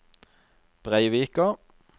Breivika